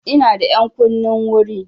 Ina da ƴankunnin wuri.